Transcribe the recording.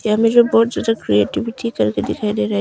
यहाँ में जो बोड करके दिखाई दे रहा है।